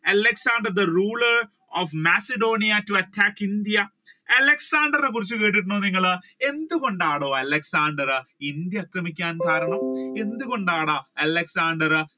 Alexander the ruler of Macedonia to attack India? അലക്സാണ്ടറിനേ കുറിച്ച് കേട്ടിട്ടുണ്ടോ നിങ്ങൾ എന്തുകൊണ്ടാണെടോ അലക്സാണ്ടർ ഇന്ത്യ ആക്രമിക്കാനുള്ള കാരണം എന്തുകൊണ്ടാണ്? അലക്സാണ്ടർ